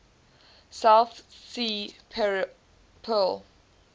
south sea pearl